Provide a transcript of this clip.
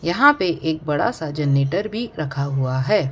यहां पे एक बड़ा सा जनरेटर भी रखा हुआ है।